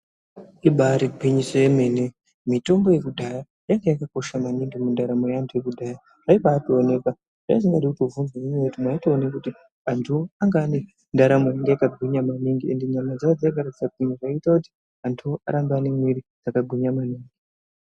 Ibari gwinyiso yemene mitombo yekudhaya yainga yakakosha maningi mundaramo yaantu ekudhaya zvaibaationekwa waisabaatobvunza ngenyaya yekuti mwaitoone kuti antuwo anga ane ndaramo yanga yakagwinya maningi ende ndaramo dzawo dzakadaro dzakagwinya zvaite kuti antuwo arambe ane mwiri dzakagwinya maningi.